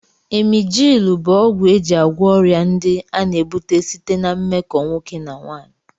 Emjịlụ bụ ọgwụ e ji agwọ ọrịa ndị a na-ebute site ná mmekọ nwoke na nwaanyị